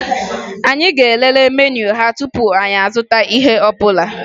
Anyị ga-elele meniu ha tupu anyị azụta ihe ọbụla